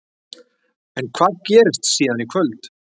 En hvað gerist síðan í kvöld?